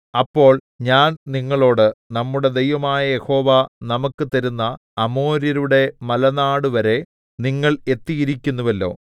അപ്പോൾ ഞാൻ നിങ്ങളോട് നമ്മുടെ ദൈവമായ യഹോവ നമുക്ക് തരുന്ന അമോര്യരുടെ മലനാടുവരെ നിങ്ങൾ എത്തിയിരിക്കുന്നുവല്ലോ